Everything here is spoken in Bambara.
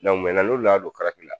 Dɔnku n'olu nana don karate la!